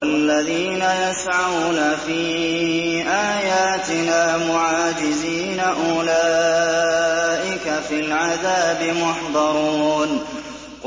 وَالَّذِينَ يَسْعَوْنَ فِي آيَاتِنَا مُعَاجِزِينَ أُولَٰئِكَ فِي الْعَذَابِ مُحْضَرُونَ